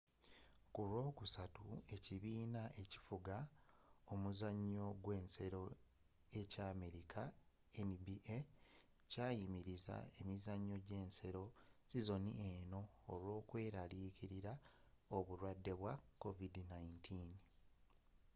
ku lwokusatu ekibiina ekifuga omuzanyo gw'ensero ekya amerika nba kyayimiriza emizanyo j'ensero sizoni eno olw'okweraliikirila obulwade bwa covid-19